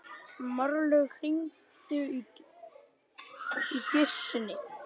Marlaug, hringdu í Gissunni.